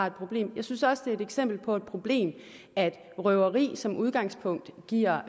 et problem jeg synes også at det er et eksempel på et problem at røveri som udgangspunkt giver